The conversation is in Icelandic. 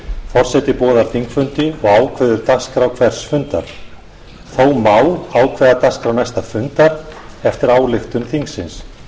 forseti boðar þingfundi og ákveður dagskrá hvers fundar þó má ákveða dagskrá næsta fundar eftir ályktun þingsins